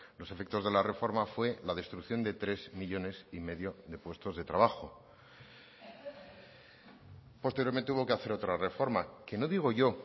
los efectos de la reforma fue la destrucción de tres millónes y medio de puestos de trabajo posteriormente hubo que hacer otra reforma que no digo yo